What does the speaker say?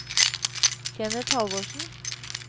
Kenneth Halvorsen